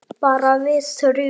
Bara við þrjú.